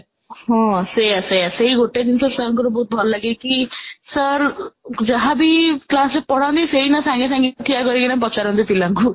ହଁ, ସେଇଆ ସେଇଆ ସେଇ ଗୋଟେ ଜିନିଷ sir ଙ୍କର ଭଲ ଲାଗେ କି sir ଯାହାବି class ରେ ପଢାନ୍ତି ସେଇନା ସାଙ୍ଗେ ସାଙ୍ଗେ ଠିଆ କରିକିନା ପଚାରନ୍ତି ପିଲାଙ୍କୁ